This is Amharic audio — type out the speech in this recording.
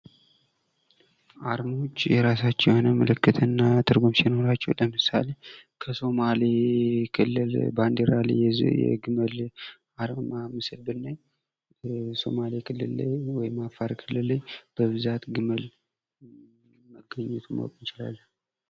አርማዎች የራሳቸው የሆነ ምልክትና ትርጉም ሲኖራቸው የሱማሌ ክልል ባንዴራ ላይ የግመል አርማ ምስል ብናይ ሶማሌ ክልል ላይ ወይም አፋር ክልል ላይ ብዛት ግመል መገኘቱን ማወቅ እንችላለን።